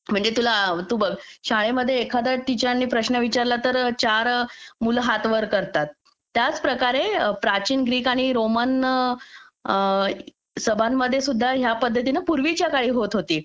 म्हणजे तुला तू बघ शाळेमध्ये एखाद्या टीचर आणि प्रश्न विचारला तर चार मुलं हात वर करतात त्याच प्रकारे प्राचीन ग्रीक आणि रोमन सभांमध्ये सुद्धा या पद्धतीने पूर्वी च्या काळी होत होती